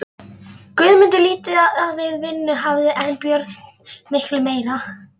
Guðmundur lítið við vinnu hafður en Björn miklu meira.